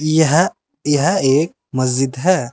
यह यह एक मस्जिद है।